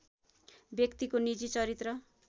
व्यक्तिको निजी चरित्र